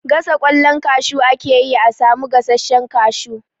Gasa ƙwallon kashu ake yi a samu gasashen kashu.